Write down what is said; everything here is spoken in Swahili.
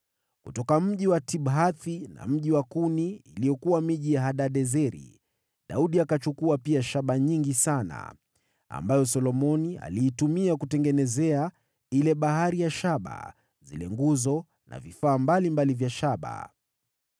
Kutoka miji ya Tibhathi na Kuni, iliyokuwa miji ya Hadadezeri, Daudi akatwaa shaba nyingi sana, ambayo Solomoni aliitumia kutengenezea ile Bahari ya shaba, zile nguzo na vifaa mbalimbali vya shaba.